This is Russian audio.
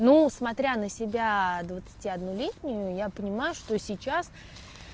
ну смотря на себя двадцати одну летнюю я понимаю что сейчас